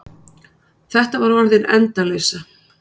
Þetta var orðin endaleysa.